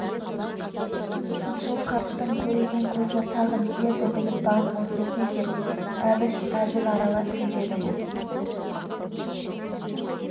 сыншыл қарттың көреген көзі тағы нелерді біліп бағып отыр екен деп әбіш әзіл аралас сөйледі бұл